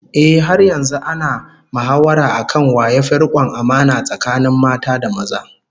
Ehh, har yanzu ana mahawara akan wa yafi rikon amana tsakanin mata da maza